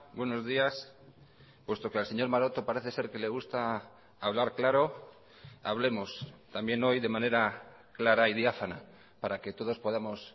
buenos días puesto que al señor maroto parece ser que le gusta hablar claro hablemos también hoy de manera clara y diáfana para que todos podamos